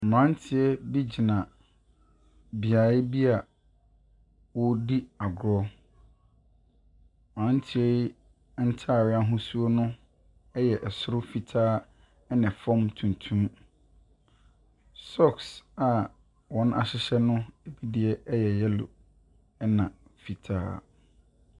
Mmeranteɛbi gyina beaeɛ bi a wɔredi agorɔ. Mmeranteɛ yi ntareɛ ahosuo no yɛ soro fitaa na fam tuntum. Socks a wɔahyehyɛ no deɛ yɛ yellow ɛnna fitaa.